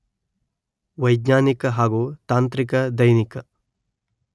ವೈಜ್ಞಾನಿಕ ಹಾಗೂ ತಾಂತ್ರಿಕ ದೈನಿಕ